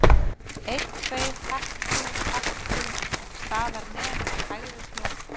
Einn, tveir, hep tú, hep tú, staðar nem og hægri snú.